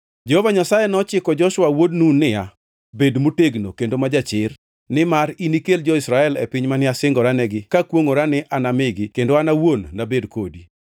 Jehova Nyasaye ne ochiko Joshua wuod Nun niya, “Bed motegno kendo ma jachir, nimar inikel jo-Israel e piny mane asingoranegi kakwongʼora ni anamigi kendo an awuon nabed kodi.”